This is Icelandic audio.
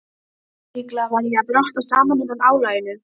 Líklega var ég að brotna saman undan álaginu.